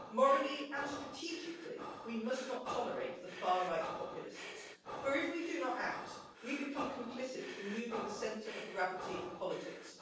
Morally and strategically we must not tolerate the far right populists, for if we do not act, we become complicit in moving the centre of gravity of politics.